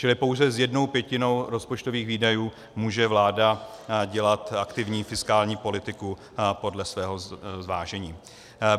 Čili pouze s jednou pětinou rozpočtových výdajů může vláda dělat aktivní fiskální politiku podle svého zvážení.